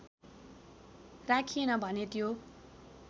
राखिएन भने त्यो